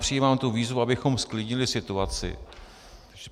Přijímám tu výzvu, abychom zklidnili situaci.